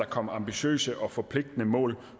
komme ambitiøse og forpligtende mål